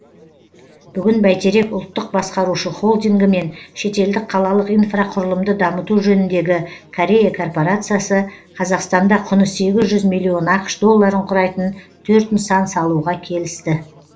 бүгін бәйтерек ұлттық басқарушы холдингі мен шетелдік қалалық инфрақұрылымды дамыту жөніндегі корея корпорациясы қазақстанда құны сегіз жүз миллион ақш долларын құрайтын төрт нысан салуға келісті